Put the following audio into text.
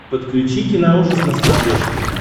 подключи киноужас на смотрешке